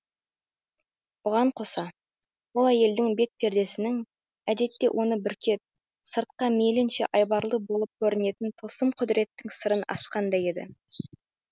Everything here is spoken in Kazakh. бұған қоса ол әйелдің бет пердесінің әдетте оны бүркеп сыртқа мейлінше айбарлы болып көрінетін тылсым құдіреттің сырын ашқандай еді